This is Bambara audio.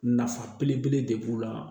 Nafa belebele de b'u la